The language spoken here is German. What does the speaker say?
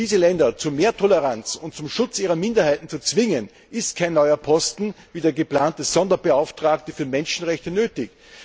Um diese Länder zu mehr Toleranz und zum Schutz ihrer Minderheiten zu zwingen, ist kein neuer Posten, wie der geplante Sonderbeauftragte für Menschenrechte, nötig.